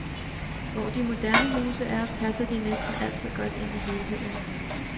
Hvor de moderne huse er, passer de næsten altid godt ind i helheden.